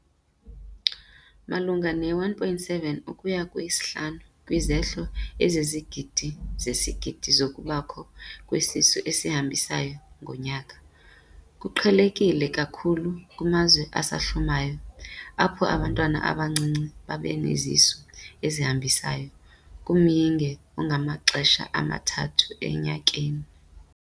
Malunga ne-1.7 ukuya 5 kwizehlo ezizizigidi sezigidi zokubakho kwesisu esihambisayo ngonyaka. Kuqhelekile kakhulu kumazwe asahlumayo, apho abantwana abancinci babanesisu esihambisayo kumyinge ongamaxesha amathathu enyakeni.